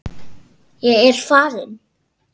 Ég er farinn!